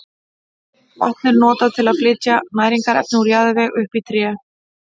Vatn er notað til að flytja næringarefni úr jarðvegi upp í tréð.